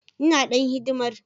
Ina dan hidimar.